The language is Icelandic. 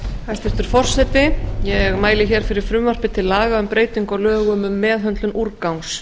hæstvirtur forseti ég mæli hér fyrir frumvarpi til laga um breytingu á lögum um meðhöndlun úrgangs